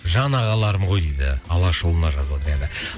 жан ағаларым ғой дейді алашұлына жазып отыр енді